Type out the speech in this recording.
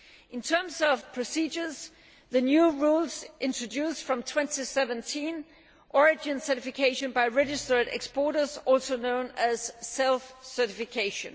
In terms of procedures, the new rules introduce, from 2017, origin certification by registered exporters, also known as self certification.